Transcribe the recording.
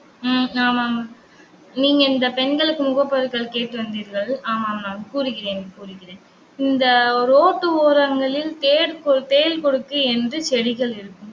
உம் ஆமா ஆமா நீங்க, இந்த பெண்களுக்கு முகப்பருக்கள் கேட்டு வந்தீர்கள். ஆமாம், நான் கூறுகிறேன் கூறுகிறேன். இந்த ரோட்டு ஓரங்களில், தேள் கொ~ தேள் கொடுக்கு என்று செடிகள் இருக்கும்